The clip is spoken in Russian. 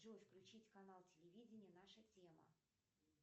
джой включить канал телевидение наша тема